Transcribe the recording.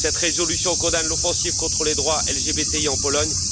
Cette résolution condamne l'offensive contre les droits LGBTI en Pologne